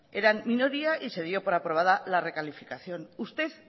eran minoría y se dio por aprobada la recalificación usted